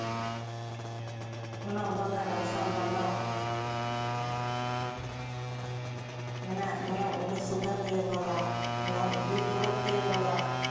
мынау балдар мысалға мынау мына мынау нұрсұлтан деген бала мынау бекболат деген бала